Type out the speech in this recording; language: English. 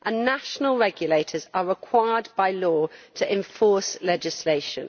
National regulators are required by law to enforce legislation.